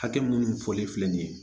Hakɛ minnu fɔlen filɛ nin ye